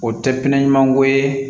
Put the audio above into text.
O tɛ pinɛɲumanko ye